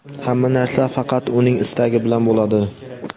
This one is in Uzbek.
Hamma narsa faqat Uning istagi bilan bo‘ladi.